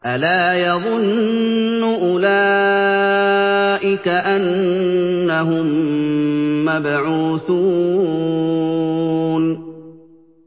أَلَا يَظُنُّ أُولَٰئِكَ أَنَّهُم مَّبْعُوثُونَ